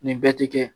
Nin bɛɛ ti kɛ